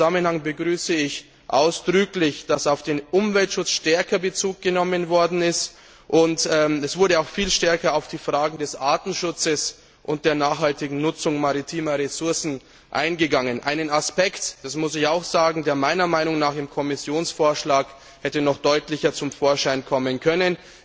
In diesem Zusammenhang begrüße ich ausdrücklich, dass auf den Umweltschutz stärker Bezug genommen worden ist, und es wurde auch viel stärker auf die Fragen des Artenschutzes und der nachhaltigen Nutzung maritimer Ressourcen eingegangen, einen Aspekt das muss ich auch sagen der meiner Meinung nach im Kommissionsvorschlag noch deutlicher hätte zum Vorschein kommen können.